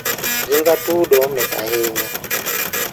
Ring atudo mit ahinya.